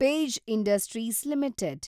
page Industries limited